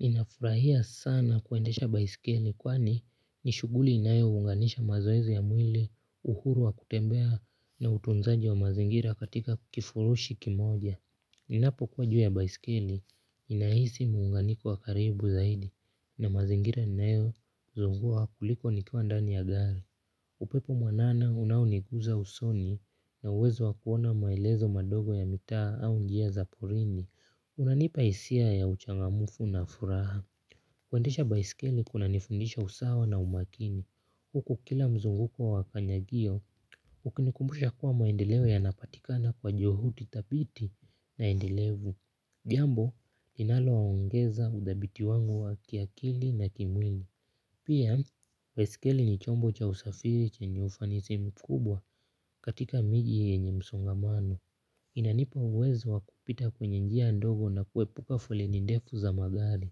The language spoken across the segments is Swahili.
Ninafurahia sana kuendesha baiskeli kwani ni shughuli inayo unganisha mazoezi ya mwili uhuru wa kutembea na utunzaji wa mazingira katika kifurushi kimoja. Ninapo kua juu ya baiskeli ninahisi muunganiko wa karibu zaidi na mazingira ninayo zunguka kuliko nikiwa ndani ya gari. Upepo mwanana unaonigusa usoni na uwezo wa kuona maelezo madogo ya mitaa au njia za porini. Unanipa hisia ya uchangamfu na furaha. Kuendesha baiskeli kuna nifundisha usawa na umakini. Huku kila mzunguko wa kanyagio, ukini kumbusha kuwa maendeleo yanapatikana kwa juhudi thabiti na endelevu. Jambo linalo ongeza uthabiti wangu wa kiakili na kimwili pia, baiskeli ni chombo cha usafiri chenye ufanisi mkubwa katika miji yenye msongamano. Inanipa uwezo wakupita kwenye njia ndogo na kuepuka foleni ndefu za magari.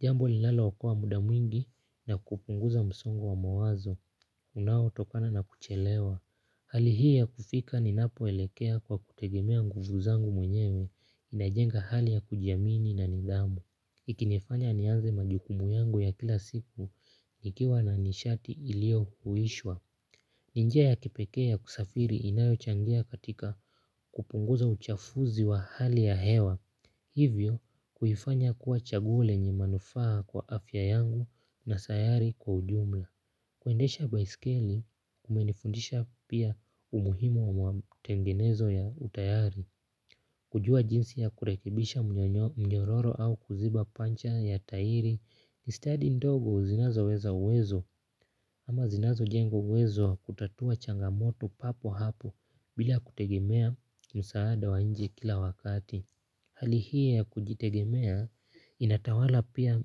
Jambo linalo okoa muda mwingi na kupunguza msongo wa mawazo. Unao tokana na kuchelewa. Hali hii ya kufika ni napo elekea kwa kutegemea nguvu zangu mwenyewe inajenga hali ya kujiamini na nidhamu. Ikinefanya nianze majukumu yangu ya kila siku nikiwa na nishati ilio huishwa. Ninjia ya kipekee ya kusafiri inayo changia katika kupunguza uchafuzi wa hali ya hewa hivyo kuifanya kuwa chaguo lenye manufaa kwa afya yangu na sayari kwa ujumla kuendesha baiskeli kumenifundisha pia umuhimu wa tengenezo ya utayari kujua jinsi ya kurekebisha mnyororo au kuziba pancha ya tairi ni stadi ndogo zinazo weza uwezo ama zinazo jengo uwezo wa kutatua changamoto papo hapo bila kutegemea msaada wa nje kila wakati. Hali hii ya kujitegemea inatawala pia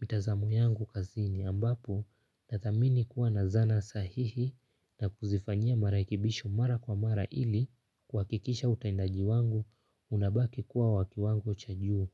mitazamo yangu kazini ambapo na thamini kuwa na zana sahihi na kuzifanyia marekebisho mara kwa mara ili kuhakikisha utendaji wangu unabaki kuwa wa kiwango cha juu.